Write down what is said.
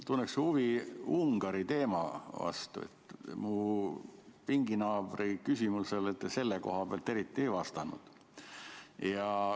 Tunneksin huvi Ungari teema vastu, mu pinginaabri küsimusele te selle koha pealt eriti ei vastanud.